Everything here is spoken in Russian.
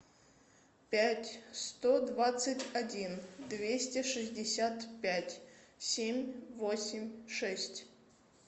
пять сто двадцать один двести шестьдесят пять семь восемь шесть